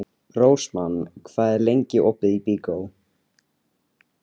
Rósmann, hvað er lengi opið í Byko?